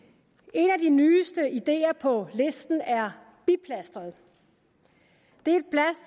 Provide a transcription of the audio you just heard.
en af de nyeste idéer på listen er biplasteret det